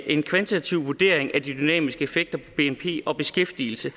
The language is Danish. en kvantitativ vurdering af de dynamiske effekter på bnp og beskæftigelsen